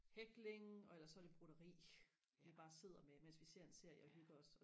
hækling og ellers så er det broderi vi bare sidder med mens vi ser en serie og hygger os